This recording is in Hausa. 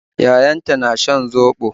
Yayanta na shan zobo.